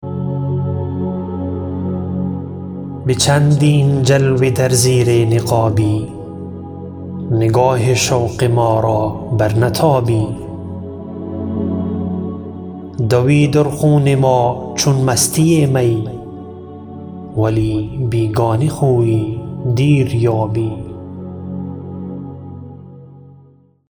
به چندین جلوه در زیر نقابی نگاه شوق ما را بر نتابی دوی در خون ما چون مستی می ولی بیگانه خویی دیر یابی